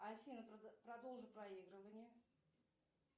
афина продолжи проигрывание